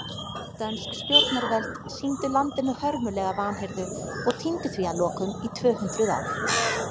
Dönsk stjórnarvöld sýndu landinu hörmulega vanhirðu og týndu því að lokum í tvö hundruð ár.